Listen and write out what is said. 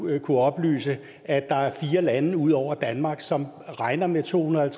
kunnet oplyse at der er fire lande ud over danmark som regner med to hundrede og